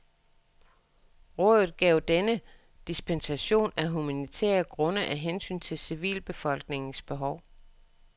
Rådet gav denne dispensation af humanitære grunde af hensyn til civilbefolkningens behov.